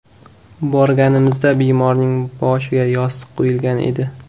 Borganimizda bemorning boshiga yostiq qo‘yilgan edi.